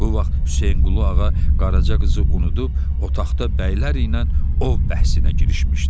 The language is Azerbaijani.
Bu vaxt Hüseynqulağa Qaraca qızı unudub otaqda bəylər ilə ov bəhsinə girişmişdi.